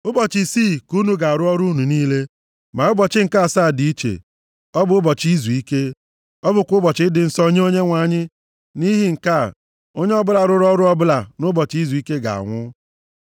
Ụbọchị isii ka unu ga-arụ ọrụ unu niile. Ma ụbọchị nke asaa dị iche. Ọ bụ ụbọchị izuike. Ọ bụkwa ụbọchị dị nsọ nye Onyenwe anyị. Nʼihi nke a, onye ọbụla rụrụ ọrụ ọbụla nʼụbọchị Izuike ga-anwụ.